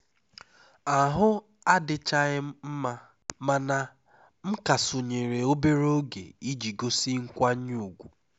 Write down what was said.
ahụ adịchaghị m mma mana m ka sonyeere obere oge iji gosi nkwanye ùgwù